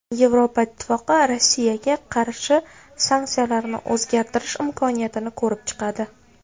Yevropa Ittifoqi Rossiyaga qarshi sanksiyalarni o‘zgartirish imkoniyatini ko‘rib chiqadi .